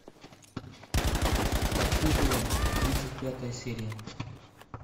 под куполом тридцать пятая серия